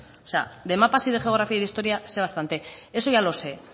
o sea de mapas y de geografía y de historia sé bastante eso ya lo sé